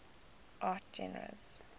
art genres